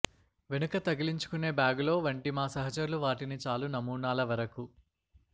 వెనుక తగిలించుకునే బ్యాగులో వంటి మా సహచరులు వాటిని చాలు నమూనాల వరకు